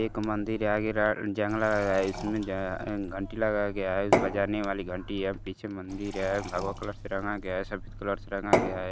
एक मंदिर आगे जंगला है। इसमें घंटी लगाया गया है। बजने वाली घंटी है और पीछे मंदिर है। भगवा कलर से रंगा गया है सफ़ेद कलर से रंगा गया है।